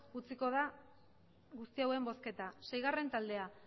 utziko da guzti hauen bozketa seigarren taldea